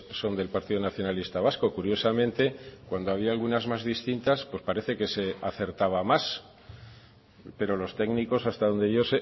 son del partido nacionalista vasco curiosamente cuando había algunas más distintas pues parece que se acertaba más pero los técnicos hasta donde yo